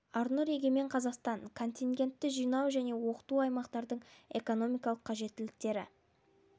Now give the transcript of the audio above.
арнұр егемен қазақстан арнұр егемен қазақстан арнұр егемен қазақстан контингентті жинау және оқыту аймақтардың экономикалық қажеттіліктері